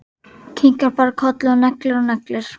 Kinkar bara kolli og neglir og neglir.